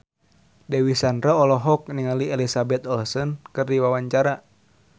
Dewi Sandra olohok ningali Elizabeth Olsen keur diwawancara